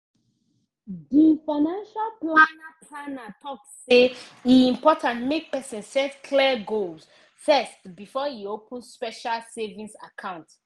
di financial planner planner talk say e important make person set clear goals first before e open special savings account